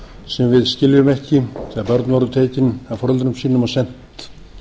sem við skiljum ekki þegar börn voru tekin af foreldrum sínum og send